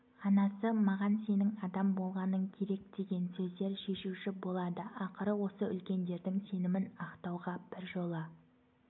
анасы маған сенің адам болғаның керек деген сөздер шешуші болады ақыры осы үлкендердің сенімін ақтауға біржола